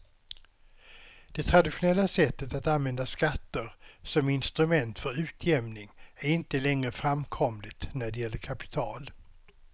Det traditionella sättet att använda skatter som instrument för utjämning är inte längre framkomligt när det gäller kapital.